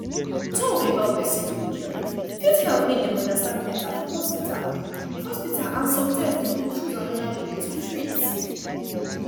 talk about person religion fit help make dem understand better for hospital hospital and sometimes dem go choose another way to treat